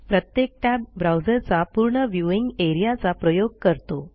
प्रत्येक टॅब ब्राऊजरचा पूर्ण व्ह्यूइंग एआरईए चा प्रयोग करतो